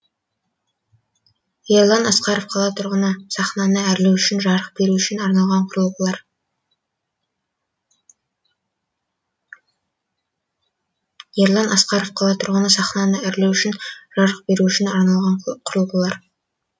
ерлан асқаров қала тұрғыны сахнаны әрлеу үшін жарық беру үшін арналған құрылғылар